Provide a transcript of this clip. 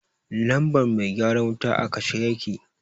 lambar mai gyara wuta a kashe yake.